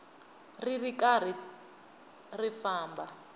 ri ri karhi ri famba